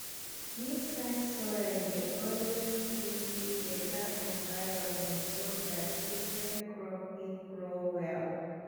dis kind soil dey always give give beta environment so dat different crops fit grow well